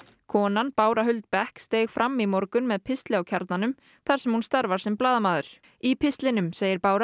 konan Bára Huld steig fram í morgun með pistli á Kjarnanum þar sem hún starfar sem blaðamaður í pistlinum segir Bára